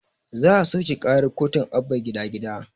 Za a soƙe karar kotun abba gida gida